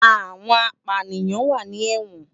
Awòn àpániyán wá ni èwòn